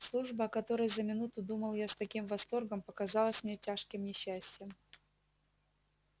служба о которой за минуту думал я с таким восторгом показалась мне тяжким несчастьем